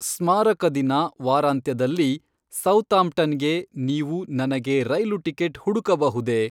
ಸ್ಮಾರಕ ದಿನ ವಾರಾಂತ್ಯದಲ್ಲಿ ಸೌತಾಂಪ್ಟನ್‌ಗೆ ನೀವು ನನಗೆ ರೈಲು ಟಿಕೆಟ್ ಹುಡುಕಬಹುದೇ?